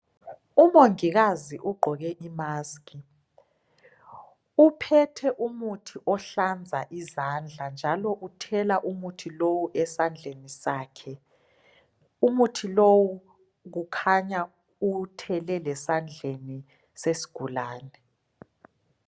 Umongikazi ugqoke imask uphethe umuthi ohlanza izandla njalo uthela umuthi lowo esandleni sakhe. Umuthi lowu kukhanya uwuthele lesandleni sesigulane .